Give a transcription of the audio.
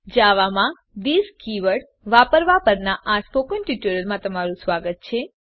જાવામાં this keyword વાપરવાં પરનાં સ્પોકન ટ્યુટોરીયલમાં સ્વાગત છે